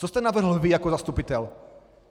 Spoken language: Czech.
Co jste navrhl vy jako zastupitel?